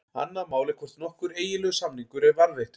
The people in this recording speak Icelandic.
Annað mál er hvort nokkur eiginlegur samningur er varðveittur.